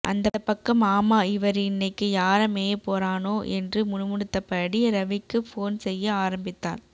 அந்த பக்கம் ஆமா இவரு இன்னைக்கு யார மேயப்பொறானோ என்று முனுமுனுபடுத்தபடி ரவிக்கு ஃபோன் செய்ய ஆரம்பித்தாள்